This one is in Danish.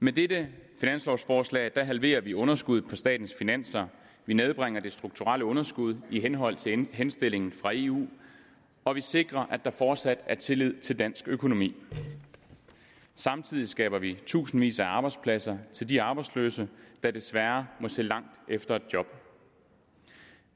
med dette finanslovforslag halverer vi underskuddet på statens finanser vi nedbringer det strukturelle underskud i henhold til henstillingen fra eu og vi sikrer at der fortsat er tillid til dansk økonomi samtidig skaber vi tusindvis af arbejdspladser til de arbejdsløse der desværre må se langt efter et job